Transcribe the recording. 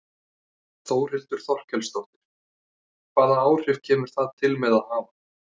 Þórhildur Þorkelsdóttir: Hvaða áhrif kemur það til með að hafa?